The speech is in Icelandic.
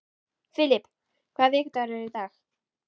Filip, hvaða vikudagur er í dag?